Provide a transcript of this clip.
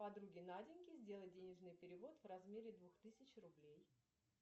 подруге наденьке сделать денежный перевод в размере двух тысяч рублей